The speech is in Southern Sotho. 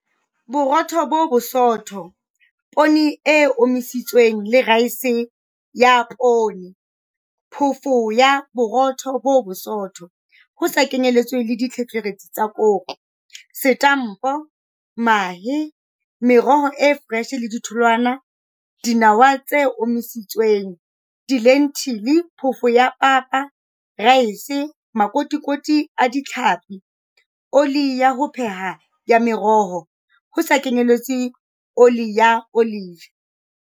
Borotho bo bosootho Poone e omisitsweng le raese ya poone Phoofo ya Borotho bo bosootho, ho sa kenyeletswe ditlheferetsi tsa koro, Setampo Mahe Meroho e foreshe le ditholwana Dinawa tse omisitsweng Dilentile Phofo ya papa Raese Makotikoti a tlhapi Oli ya ho pheha ya meroho, ho sa kenyeletswe oli ya olive.